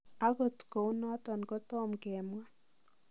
Agot kounoton kotomgemwa.